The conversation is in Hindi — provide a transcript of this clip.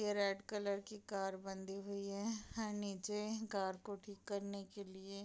ये रेड कलर की कार बाँधी हुई है नीचे कार को ठीक करने के लिए --